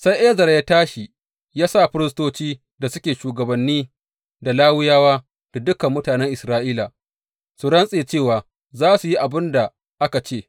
Sai Ezra ya tashi ya sa firistoci da suke shugabanni, da Lawiyawa, da dukan mutanen Isra’ila su rantse, cewa za su yi abin da aka ce.